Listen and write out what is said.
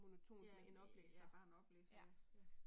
Ja, ja bare en oplæser ja ja